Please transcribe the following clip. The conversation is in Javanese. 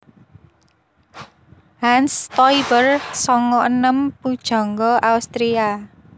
Hans Stoiber sanga enem pujangga Austria